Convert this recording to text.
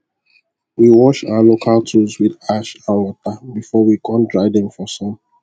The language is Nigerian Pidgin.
we wash our local tools with ash and water before we kon dry dem for sun